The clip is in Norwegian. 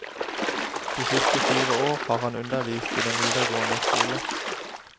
De siste fire år har han undervist i den videregående skole.